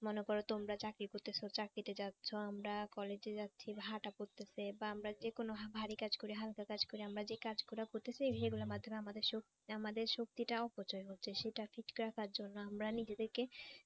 মনে করো তোমরা চাকরি করতেছো চাকরিতে যাচ্ছ আমরা কলেজে যাচ্ছি বা হাঁটা করতেছে এবার আমরা যেকোনো ভারী কাজ করি হালকা কাজ করি আমরা যে কাজ করার করতেছি সেগুলো মাধ্যমে আমাদের শক্তি আমাদের শক্তিটা অপচয় হচ্ছে সেটা ঠিক রাখার জন্য আমরা নিজেদের কে